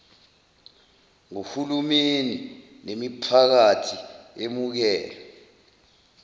ngohulumeni nemiphakathi emukelwe